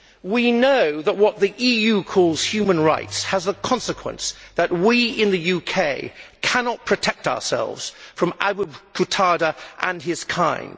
We know that what the EU calls human rights has the consequence that we in the UK cannot protect ourselves from Abu Qatada and his kind.